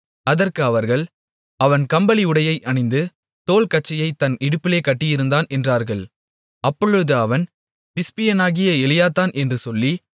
அதற்கு அவர்கள் அவன் கம்பளி உடையை அணிந்து தோல் கச்சையைத் தன் இடுப்பிலே கட்டியிருந்தான் என்றார்கள் அப்பொழுது அவன் திஸ்பியனாகிய எலியாதான் என்று சொல்லி